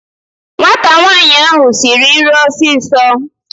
Nwata nwaanyị ahụ siri nri ọsịsọ